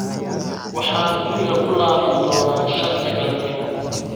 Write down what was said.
Waxaan guriga ku laaban doonnaa shanta galabnimo